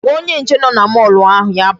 Gwa onye nche nọ na mall ahụ ya bịa.